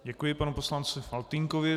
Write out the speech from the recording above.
Děkuji panu poslanci Faltýnkovi.